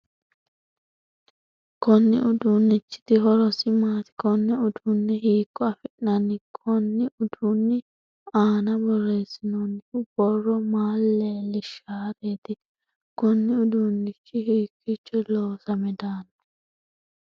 Konni uduunichiti horosi maati? Konne uduune hiiko afi'nanni? Konni uduunni aanna boreesinoonnihu borro maa leeisharati? Kunni uduunichi hiikiicho loosame daano?